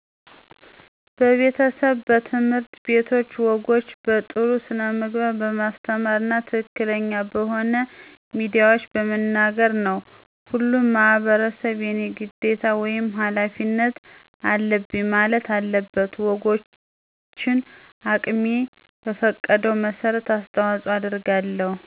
በቤተሰብ፣ በትምህርት ቤቶች ወጎችን በጥሩ ስነምግባር በማስተማር እና ትክክለኛ በሆኑ ሚዲያዎች በመናገር ነው። ሁሉም ማህበረሰብ የኔ ግዴታ ወይም ሀላፊነት አለብኝ ማለት አለበት። ወጎችን አቅሜ በፈቀደው መሠረት አስተዋጽኦ አደርጋለሁ።